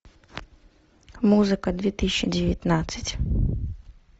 музыка две тысячи девятнадцать